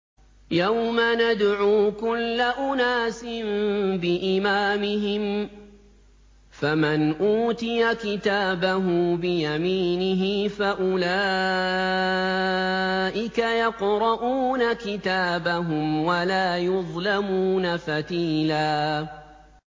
يَوْمَ نَدْعُو كُلَّ أُنَاسٍ بِإِمَامِهِمْ ۖ فَمَنْ أُوتِيَ كِتَابَهُ بِيَمِينِهِ فَأُولَٰئِكَ يَقْرَءُونَ كِتَابَهُمْ وَلَا يُظْلَمُونَ فَتِيلًا